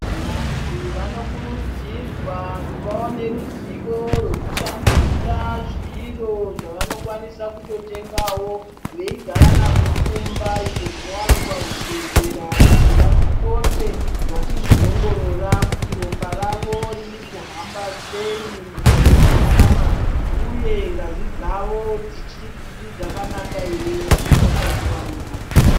Vanhu vanokurudzirwa kuvawo neruzivo rwekushandisa zviro zvavanokwanisa kutotengawo veigaranazvo kumba , izvo zvinowanikwa muzvibhehlera kuti vapote vachizviongorora kuti ropa ravo ririkuhamba sei ? mukati menyama uye ngazi dzavo dzichiri dzakanaka here ? hadzina utachiwana here .